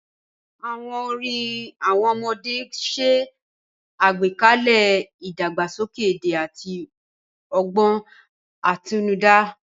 Àwọn orin àwọn ọmọdé ń ṣe àgbékalẹ̀ ìdàgbàsókè èdè àti ọgbọ́n àtinúdá.